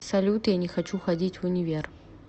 салют я не хочу ходить в универ